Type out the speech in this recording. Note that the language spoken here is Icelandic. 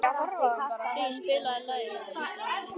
Hlíf, spilaðu lagið „Haustið á liti“.